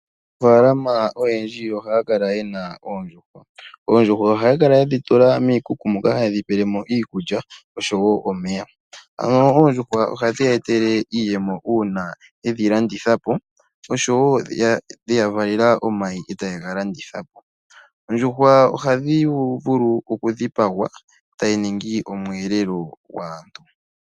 Aanafaalama oyendji ohaa tekula oondjuhwa haa kala yedhi tula miikuku na oha ye dhi pelemo iikulya nosho woo omeya. Ohadhi ya etele iiyemo ngele yedhi landithapo. Ohadhi vala woo omayi ngono nago haga liwa po kaanafaalama nenge yega landithepo. Onyama yondjuhwa nayo ohayi liwa.